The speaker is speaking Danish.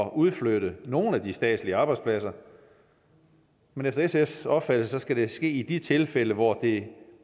udflytte nogle af de statslige arbejdspladser men efter sfs opfattelse skal det ske i de tilfælde hvor det